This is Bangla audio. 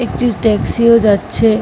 একটি ট্যাক্সি -ও যাচ্ছে।